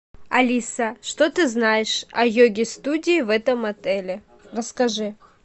алиса что ты знаешь о йоге студии в этом отеле расскажи